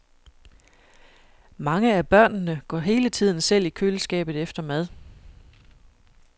Mange af børnene går hele tiden selv i køleskabet efter mad.